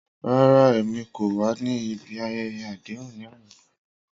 Rara, Emi ko wa ni ibi ayẹyẹ adehun ni ana.